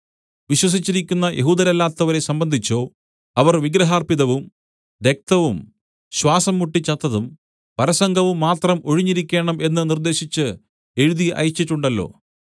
വിശ്വസിച്ചിരിക്കുന്ന യഹൂദരല്ലാത്തവരെ സംബന്ധിച്ചോ അവർ വിഗ്രഹാർപ്പിതവും രക്തവും ശ്വാസംമുട്ടിച്ചത്തതും പരസംഗവും മാത്രം ഒഴിഞ്ഞിരിക്കേണം എന്ന് നിർദ്ദേശിച്ച് എഴുതി അയച്ചിട്ടുണ്ടല്ലോ